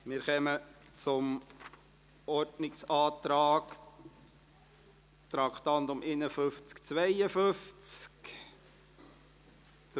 Wir kommen zum Ordnungsantrag betreffend Traktanden 51 und 52.